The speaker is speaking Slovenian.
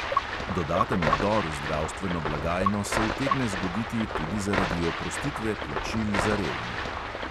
Dodaten vdor v zdravstveno blagajno se utegne zgoditi tudi zaradi oprostitve plačil za revne.